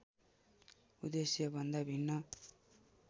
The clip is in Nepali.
उद्देश्य भन्दा भिन्न